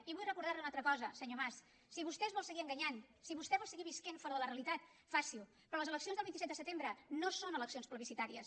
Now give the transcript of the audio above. i vull recordar li una altra cosa senyor mas si vostè es vol seguir enganyant si vostè vol seguir vivint fora de la realitat faci ho però les eleccions del vint set de setembre no són eleccions plebiscitàries